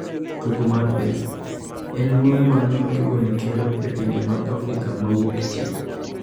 Tugo mar pesa: En luoro mane ma tugoni kelo e pinje mag Afrika ma Wuokchieng’?